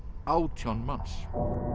átján manns